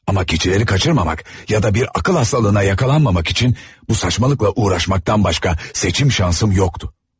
Amma gecələri kaçırmamak ya da bir akıl hastalığına yakalanmamak için bu saçmalıkla uğraşmaktan başqa seçim şansım yoxdu.